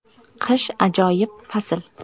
Qish − ajoyib fasl.